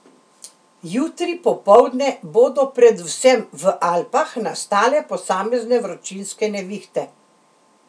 Jutri popoldne bodo predvsem v Alpah nastale posamezne vročinske nevihte.